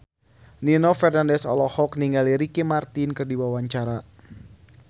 Nino Fernandez olohok ningali Ricky Martin keur diwawancara